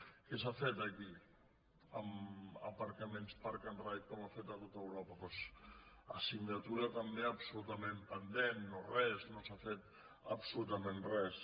què s’ha fet aquí amb aparcaments park and ride com han fet a tot europa doncs assignatura també absolutament pendent no res no s’ha fet absolutament res